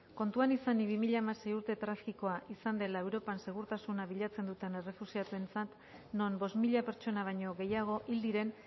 kontuan izanik bi mila hamasei urte tragikoa izan dela europan segurtasuna bilatzen duten errefuxiatuentzat non bost mila pertsona baino gehiago hil diren